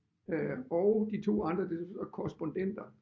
Øh og de 2 andre det korrespondenter